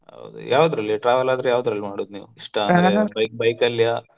ಹೌದಾ ಯಾವದ್ರಲ್ಲಿ travel ಆದ್ರೆ ಯಾವದ್ರಲ್ಲಿ ಮಾಡೋದ್ ನೀವು? bike ಲಿಯಾ?